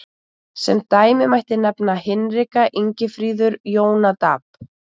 Sem dæmi mætti nefna Hinrika, Ingifríður, Jónadab.